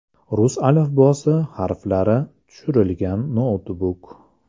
Rus alifbosi harflari tushirilgan noutbuk.